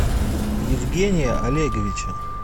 евгения олеговича